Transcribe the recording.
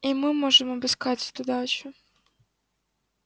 и мы можем обыскать эту дачу